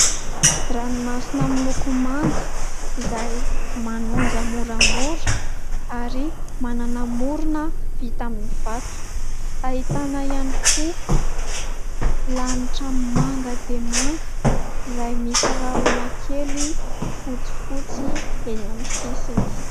Ranomasina miloko manga izay manonja moramora ary manana morona vita amin'ny vato, ahitana ihany koa lanitra manga dia manga izay misy rahona kely fotsifotsy eny amin'ny sisiny.